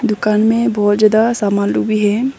दुकान में बहुत ज्यादा समान लोग भी है।